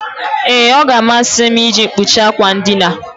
Ee, ọ ga-amasị m iji mkpuchi akwa ndina.